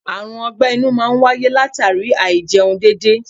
Àrùn ogbe-inú máa ń wáyé latara Áì-jẹun dédé.